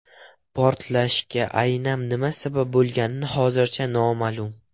Portlashga aynan nima sabab bo‘lgani hozircha noma’lum.